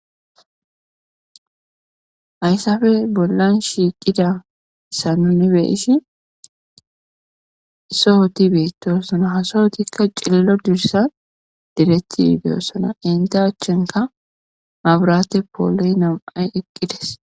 ayssafe bollan shiiqida sanunibe ishi sohoti beetoosona hasohotikka cillo dursa direttii beyossona inte achchenka mabrate pooloy nam7ay eqqides